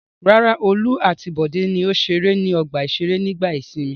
Rárá, Olú àti Bọ̀dé ni ó ṣeré ní ọgbà-ìṣeré nígbà ìsìnmi.